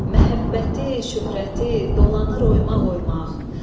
Məhəbbəti, şöhrəti dolanır oymaq-oymaq.